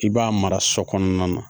I b'a mara so kɔnɔna na